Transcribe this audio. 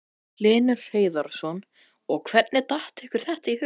Magnús Hlynur Hreiðarsson: Og hvernig datt ykkur þetta í hug?